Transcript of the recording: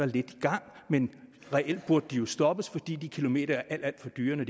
lidt i gang men reelt burde de jo stoppes fordi de kilometer er alt alt for dyre når